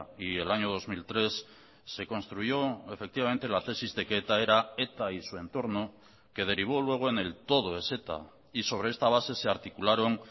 y el año dos mil tres se construyó efectivamente la tesis de que eta era eta y su entorno que derivó luego en el todo es eta y sobre esta base se articularon